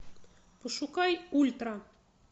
пошукай ультра